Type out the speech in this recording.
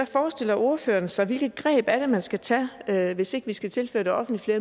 forestiller ordføreren sig hvilke greb er det man skal tage tage hvis ikke vi skal tilføre det offentlige